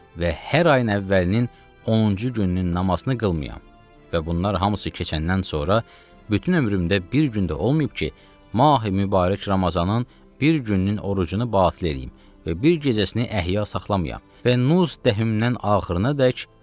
Və hər ayın əvvəlinin 10-cu gününün namazını qılmayam və bunlar hamısı keçəndən sonra bütün ömrümdə bir gün də olmayıb ki, Mahi Mübarək Ramazanin bir gününün orucunu batil eləyim və bir gecəsini əhya saxlamayyam və Nüs Dəhminən axırı.